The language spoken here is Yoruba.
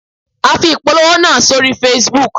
A fi ìpolówó náà sórí Facebook